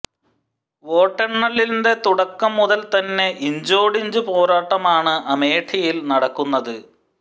വോട്ടെണ്ണലിന്റെ തുടക്കം മുതൽ തന്നെ ഇഞ്ചോടിഞ്ച് പോരാട്ടമാണ് അമേഠിയിൽ നടക്കുന്നത്